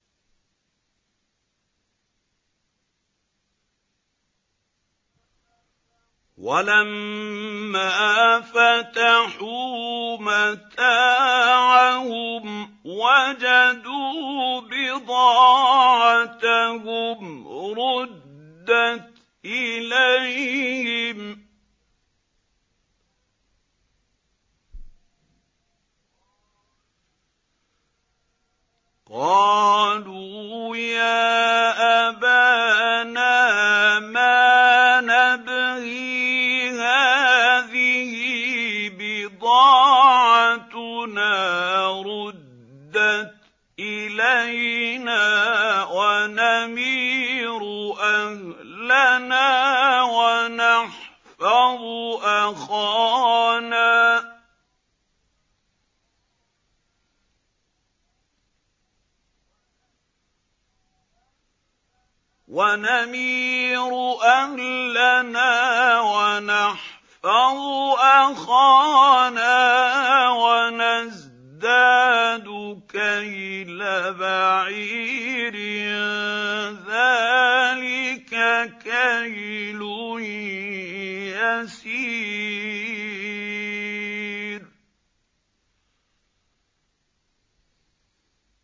وَلَمَّا فَتَحُوا مَتَاعَهُمْ وَجَدُوا بِضَاعَتَهُمْ رُدَّتْ إِلَيْهِمْ ۖ قَالُوا يَا أَبَانَا مَا نَبْغِي ۖ هَٰذِهِ بِضَاعَتُنَا رُدَّتْ إِلَيْنَا ۖ وَنَمِيرُ أَهْلَنَا وَنَحْفَظُ أَخَانَا وَنَزْدَادُ كَيْلَ بَعِيرٍ ۖ ذَٰلِكَ كَيْلٌ يَسِيرٌ